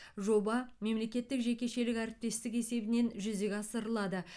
жоба мемлекеттік жекешелік әріптестік есебінен жүзеге асырылады